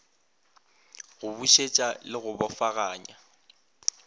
go busetsa le go bofaganya